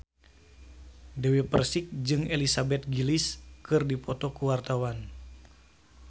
Dewi Persik jeung Elizabeth Gillies keur dipoto ku wartawan